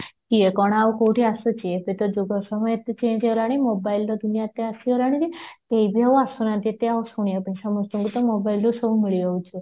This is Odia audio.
କିଏ କଣ ଆଉ କୋଉଠି ଆସୁଚି ଏବେ ତ ଯୁଗ ସମୟ ଏତେ change ହେଇଗଲାଣି mobileର ଦୁନିଆ ତ ଆସିଗଲାଣି କେହିବି ଆଉ ଆସୁନାହାନ୍ତି ଏତେ ଆଉ ଶୁଣିବା ପାଇଁ ସମସ୍ତଙ୍କୁ ତ mobileରୁ ସବୁ ମିଳିଯାଉଚି